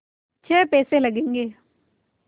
छः पैसे लगेंगे